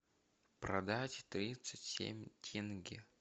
продать тридцать семь тенге